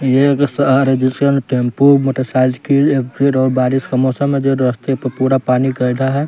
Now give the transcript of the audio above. ये है सहारे जिसे टेंपू मोटरसाइकिल एक फिर और बारिश का मौसम है जो रस्ते प पूरा पानी कैला है।